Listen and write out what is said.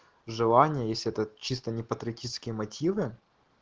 желание если это чисто не патриотические мотивы